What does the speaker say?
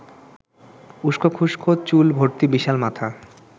উস্কোখুস্কো চুল ভর্তি বিশাল মাথা